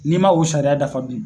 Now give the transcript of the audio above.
N'i ma o sariya dafa dun